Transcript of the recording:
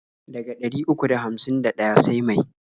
Daga ɗari uku da hamsin da ɗaya sai mai?